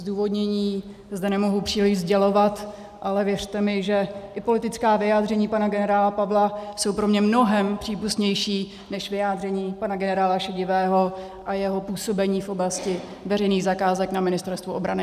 Zdůvodnění zde nemohu příliš sdělovat, ale věřte mi, že i politická vyjádření pana generála Pavla jsou pro mě mnohem přípustnější než vyjádření pana generála Šedivého a jeho působení v oblasti veřejných zakázek na Ministerstvu obrany.